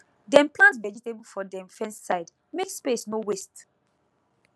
dem plant vegetable for dem fence side make space no waste